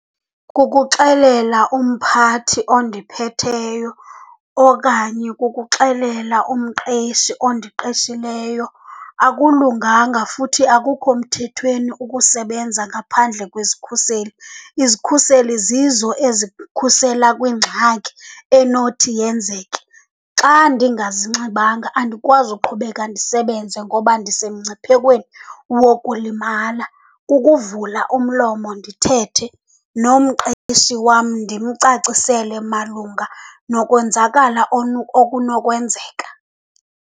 Kukuxelela umphathi ondiphetheyo okanye kukuxelela umqeshi ondiqeshileyo, akulunganga futhi akukho mthethweni ukusebenza ngaphandle kwezikhuseli. Izikhuseli zizo ezikukhusela kwingxaki enothi yenzeke, xa ndingazinxibanga andikwazi uqhubeka ndisebenze ngoba ndisemngciphekweni wokulimala. Kukuvula umlomo ndithethe nomqeshi wam ndimcacisele malunga nokonzakala okunokwenzeka.